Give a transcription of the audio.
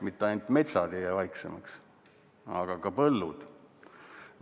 Mitte ainult metsad ei jää vaiksemaks, vaid ka põllud.